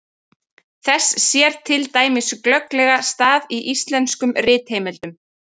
Þess sér til dæmis glögglega stað í íslenskum ritheimildum.